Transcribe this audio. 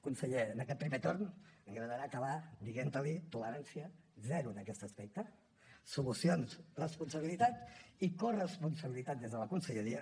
conseller en aquest primer torn m’agradarà acabar dient li tolerància zero en aquest aspecte solucions responsabilitat i corresponsabilitat des de la conselleria